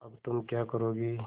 अब तुम क्या करोगी